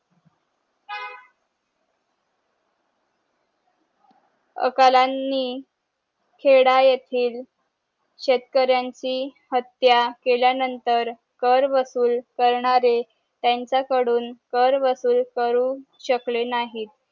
या कलानी छेडा येथील शेतकऱ्यांची हत्या केल्या नंतर कर वसूल करणारे त्यांचा कडून कर वसूल करून शकले नाही